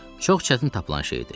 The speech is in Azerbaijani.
Çox çətin tapılan şey idi.